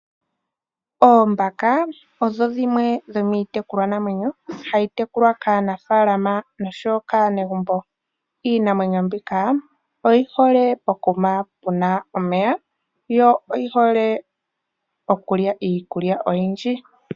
Oombaka odho dhimwe dhomiitekulwa namwenyo hadhi tekulwa kaanafaalama nosho woo kaanegumbo. Iinamwenyo mbika oyi hole po ku ma puna omeya, yo oyi hole okulya iikulya oyindji.